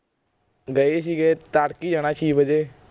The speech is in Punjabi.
ਗਏ ਸੀਗੇ ਤੜਕੇ ਜਾਣਾ ਛੀ ਵਜੇ